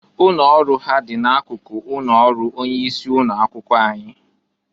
Ụnọ ọrụ ha dị na akụkụ ụnọ ọrụ onye isi ụnọ akwụkwọ anyị.